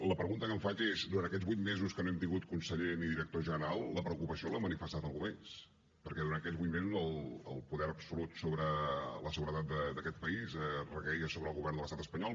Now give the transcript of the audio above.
la pregunta que em faig és durant aquests vuit mesos que no hem tingut conseller ni director general la preocupació l’ha manifestat algú més perquè durant aquests vuit mesos el poder absolut sobre la seguretat d’aquest país requeia sobre el govern de l’estat espanyol